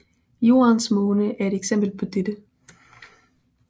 Jordens måne er et eksempel på dette